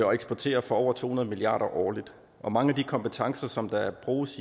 og eksporterer for over to hundrede milliard kroner årligt mange af de kompetencer der er brug